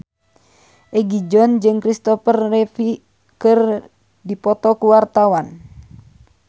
Egi John jeung Christopher Reeve keur dipoto ku wartawan